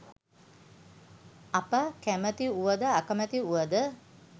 අප කැමති වුව ද අකමැති වුව ද